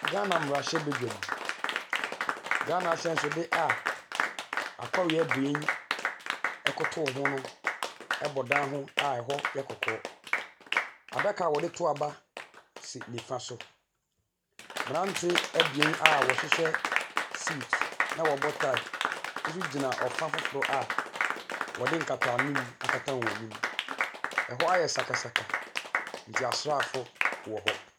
Ghana mmerahyɛbadwam, Ghana ahyɛnsodeɛ a akɔre abien koto ho no si bɔ dan ho hɔ yɛ kɔkɔɔ. Adaka a wɔde to aba si nifa so. Mmerante abien a wɔhyehyɛ suit na wɔbɔ taae nso gyina ɔfa foforo a wɔde nkata anim akata wɔn anim. Ɛwɔ ayɛ sakasaka nti asrafo wɔ hɔ.